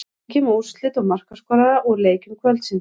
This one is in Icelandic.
Kíkjum á úrslit og markaskorara úr leikjum kvöldsins.